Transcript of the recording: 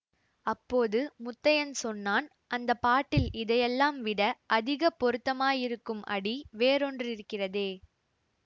அப்போது முத்தையன் சொன்னான் அந்த பாட்டில் இதையெல்லாம் விட அதிக பொருத்தமாயிருக்கும் அடி வேறொன்றிருக்கிறதே